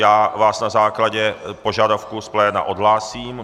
Já vás na základě požadavku z pléna odhlásím.